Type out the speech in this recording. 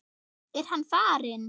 Er hann farinn?